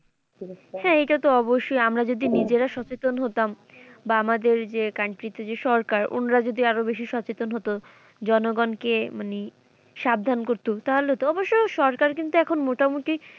হ্যাঁ এটা তো অবশ্যই আমরা যদি নিজেরা সচেতন হতাম বা আমাদের যে country তে যে সরকার উনারা যদি আরো বেশি সচেতন হত জনগণ কে মানে সাবধান করতো তাহলে তো অবশ্য সরকার কিন্তু এখন মোটামুটি